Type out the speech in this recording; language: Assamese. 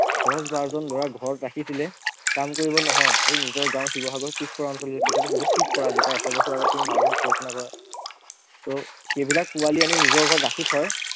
দহ বাৰজন লৰা ঘৰত ৰাখিছিলে কাম কৰিব নহয় সেই নিজৰ গাৱঁৰ শিৱসাগৰ পিছপৰা অঞ্চলকিটা তেতিয়াতো বহুত পিছপৰা আজি প্ৰায় এশ বছৰ আগত তুমি ভাৱাচোন কল্পনা কৰা, ত সেইবিলাক পোৱালী আনি নিজৰ ঘৰত ৰাখি থয়